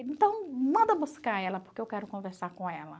Então manda buscar ela porque eu quero conversar com ela.